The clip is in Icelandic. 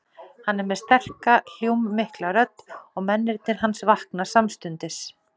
Hann er með sterka, hljómmikla rödd og mennirnir hans vakna samstundis.